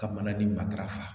Ka mana ni matarafa